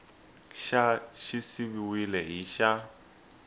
xa xi siviwile hi xa